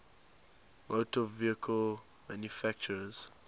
motor vehicle manufacturers